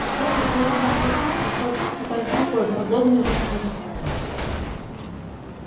вскоре белому клыку пришлось испытать другой подобный же случай